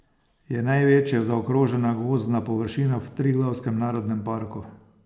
Je največja zaokrožena gozdna površina v Triglavskem narodnem parku.